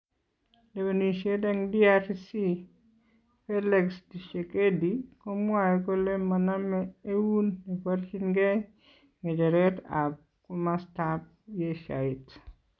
Lewenishet en DRC : Felix Tshisekedi komwae kole maname eun neborchinkee ngecheret ab komastab yeshaeet